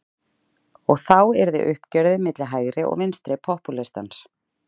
Og þá yrði uppgjörið milli hægri og vinstri popúlistans.